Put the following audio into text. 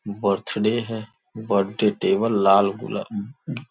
birthday है birthday table लाल गुलाब ब ब --